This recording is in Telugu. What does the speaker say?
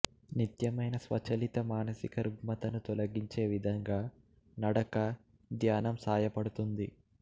నిత్యమైన స్వచలిత మానసిక రుగ్మతను తొలగించే విధంగా నడక ధ్యానం సాయపడుతుంది